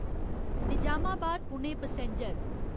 Nizamabad Pune passenger